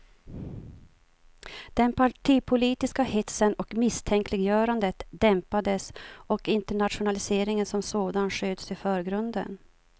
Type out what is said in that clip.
Den partipolitiska hetsen och misstänkliggörandet dämpades och internationaliseringen som sådan sköts i förgrunden.